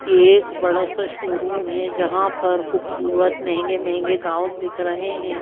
ये एक बड़ा सा शोरूम है जहां पर खूबसूरत महंगे महंगे गाउन दिख रहे हैं।